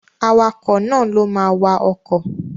Awakọ̀ náà ló ma wa ọkọ̀